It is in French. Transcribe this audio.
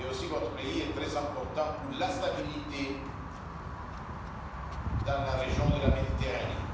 Votre pays est aussi très important pour la stabilité dans la région de la Méditerranée.